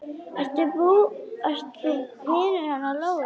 Ert þú vinur hennar Lóu?